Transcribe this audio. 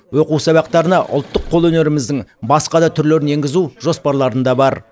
оқу сабақтарына ұлттық қолөнеріміздің басқа да түрлерін енгізу жоспарларында бар